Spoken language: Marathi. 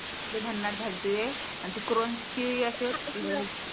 लई भन्नाट झालते आणि ते अशी